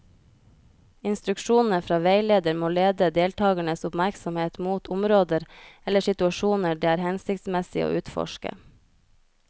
Instruksjonene fra veileder må lede deltakernes oppmerksomhet mot områder eller situasjoner det er hensiktsmessig å utforske.